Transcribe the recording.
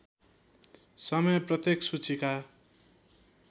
समय प्रत्येक सूचीका